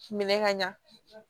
Minɛ ka ɲa